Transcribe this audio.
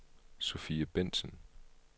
Sofie Bentzen